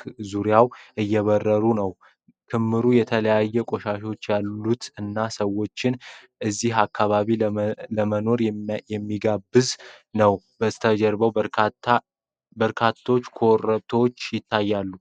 ክምር ዙሪያ እየበረሩ ነው። ክምሩ የተለያዩ ቆሻሻዎች ያሉት እና ሰዎችን እዚህ አካባቢ ለመኖር የማይጋብዝ ነው። ከበስተጀርባውም ኮረብታዎች ይታያሉ።